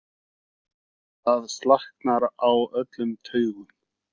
Það slaknar á öllum taugum.